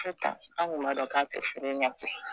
Sitan an kun m'a dɔn k'a t'i furu ɲɛ koyi